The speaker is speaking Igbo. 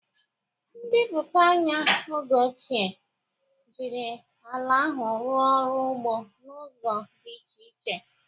Mmepe anya oge ochie jiri ala ahụ rụọ ọrụ ugbo n'ụzọ dị iche iche.